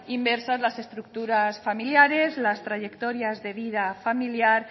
inmersas las estructuras familiares las trayectorias de vida familiar